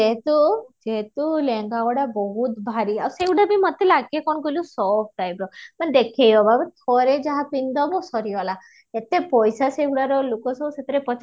ଦେଖିବା ଯେହେତୁ ଯେହେତୁ ଲେହେଙ୍ଗା ଗୁଡା ବହୁତ ଭାରି ଆଉ ସେ ଗୁଡା ବି ମତେ ଲାଗେ କଣ କହିଲୁ soft type ର ମାନେ ଦେଖେଇହବା ଥରେ ଯାହା ପିନ୍ଧିଦେବ ସରିଗଲା ଏତେ ପଇସାର ସେଗୁଡାର ଲୋକ ସବୁ ସେଥିରେ